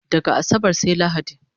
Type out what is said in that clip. Daga asabar sai lahadi